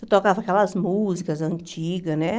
Tocava aquelas músicas antigas, né?